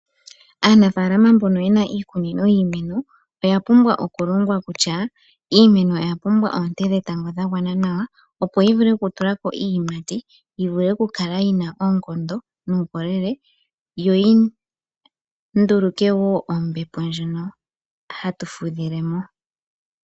Aanafalama mboka yena iikunino yiimeno oya pumbwa okulongwa kutya iimeno oya pumbwa oonte dhetango dha gwana nawa, opo yi vule okutulako iiyimati. Yi vule okukala yi na oonkondo nuukolele, yo yi nduluke wo ombepo ndjono hatu fudhile mo.